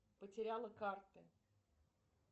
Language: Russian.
потеряла карты